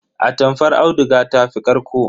Atamfar auduga ta fi ƙarƙo.